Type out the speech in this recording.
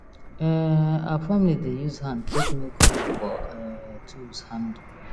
um our family dey use hand take make hole for um tools handle